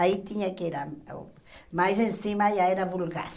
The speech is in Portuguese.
Aí tinha que era... Mais em cima já era vulgar.